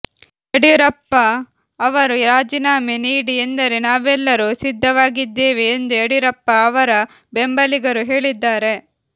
ಯಡಿಯೂರಪ್ಪ ಅವರು ರಾಜೀನಾಮೆ ನೀಡಿ ಎಂದರೆ ನಾವೆಲ್ಲರೂ ಸಿದ್ಧವಾಗಿದ್ದೇವೆ ಎಂದು ಯಡಿಯೂರಪ್ಪ ಅವರ ಬೆಂಬಲಿಗರು ಹೇಳಿದ್ದಾರೆ